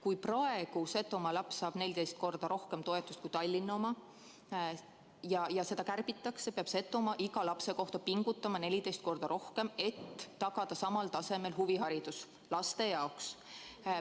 Kui praegu saab Setomaa laps 14 korda rohkem toetust kui Tallinna laps ja seda kärbitakse, peab Setomaa iga lapse kohta pingutama 14 korda rohkem, et tagada samal tasemel huviharidus.